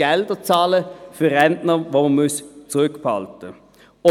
Gelder zahlen muss für Rentner, die man zurückbehalten muss.